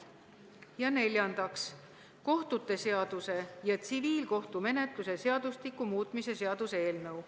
Ja neljandaks, kohtute seaduse ja tsiviilkohtumenetluse seadustiku muutmise seaduse eelnõu.